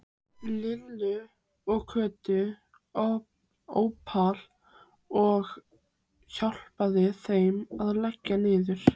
Lillu og Kötu Ópal og hjálpaði þeim að leggja niður.